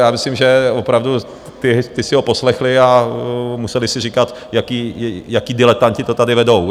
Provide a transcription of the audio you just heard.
Já myslím, že opravdu ti si ho poslechli a museli si říkat, jací diletanti to tady vedou?